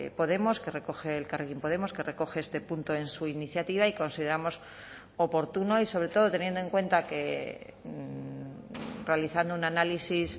podemos que recoge elkarrekin podemos que recoge este punto en su iniciativa y consideramos oportuno y sobre todo teniendo en cuenta que realizando un análisis